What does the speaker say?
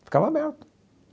Ficava aberto.